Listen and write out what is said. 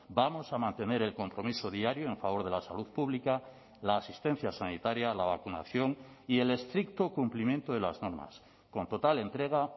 vamos a mantener el compromiso diario en favor de la salud pública la asistencia sanitaria la vacunación y el estricto cumplimiento de las normas con total entrega